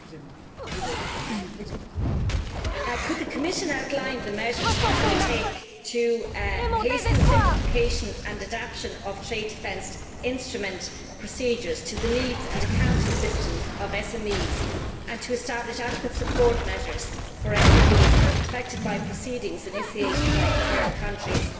Madam President, could the Commission outline the measures it will take to hasten the simplification and adaptation of trade defence instrument procedures to the needs and accounting systems of SMEs and to establish adequate support measures for SMEs affected by proceedings initiated by third countries?